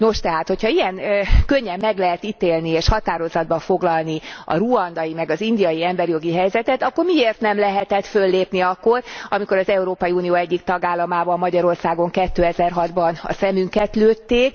Nos, tehát ha ilyen könnyen meg lehet ítélni és határozatba foglalni a ruandai meg az indiai emberi jogi helyzetet, akkor miért nem lehetett föllépni akkor, amikor az Európai Unió egyik tagállamában, Magyarországon 2006 ban a szemünket lőtték?